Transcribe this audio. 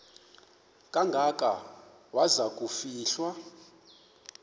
kangaka waza kufihlwa